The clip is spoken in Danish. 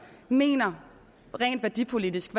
mener rent værdipolitisk